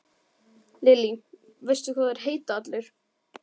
Lillý: Veistu hvað þeir heita allir?